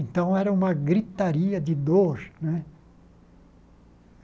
Então, era uma gritaria de dor né.